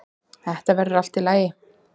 Þetta verður allt í lagi.